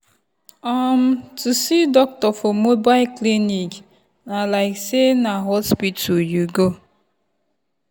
um to see doctor for mobile clinic na like say na hospital you go.